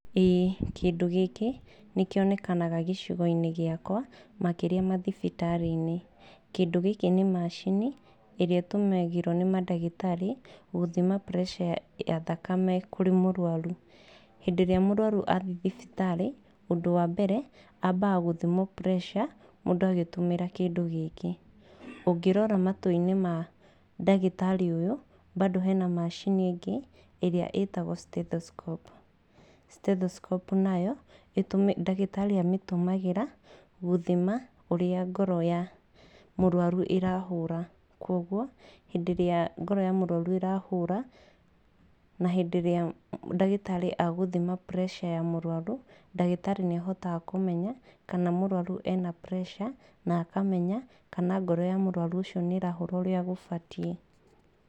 ĩ kĩndũ gĩkĩ nĩkĩonekanaga gĩcigoinĩ gĩakwa makĩria mathibitarĩinĩ. Kĩndŭ gĩkĩ nĩ macini ĩrĩa ĩtŭmĩragwo nĩ madagĩtarĩ gŭthima preca ya thakame kŭrĩ mŭrwarŭ. Hĩndĩ ĩrĩa mŭrwarŭ athiĩ thibitarĩ ŭndŭ wa mbere ambaga gŭthimwo preca mŭndŭ agĩtŭmĩra kĩndŭ gĩkĩ. Ŭngĩrora matŭinĩ ma dagĩtarĩ ŭyŭ mbado hena macini ĩngĩ ĩrĩa ĩtagwo stethoscope. Stethoscope nayo itumĩ dagĩtarĩ atŭmagĩra gŭthima ŭria ngoro ya mŭrwarŭ irahŭŭra. Kŭogŭo hĩndĩ ĩrĩa ngoro ya mŭrwarŭ ĩrahŭra na hĩndĩ ĩrĩa dagĩtarĩ agŭthima preca ya mŭrwarŭ dagĩtari nĩahotaga kŭmenya kana mŭrwarŭ ena preca na akamenya kana ngoro ya mŭrwarŭ ŭcio nĩĩrahŭra ŭrĩa gŭbatiĩ.